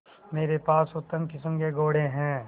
मेरे पास उत्तम किस्म के घोड़े हैं